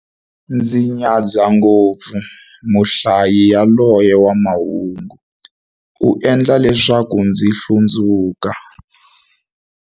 Ndzi nyadza ngopfu muhlayi yaloye wa mahungu, u endla leswaku ndzi hlundzuka.